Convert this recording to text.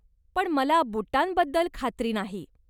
पण मला बूटांबद्दल खात्री नाही.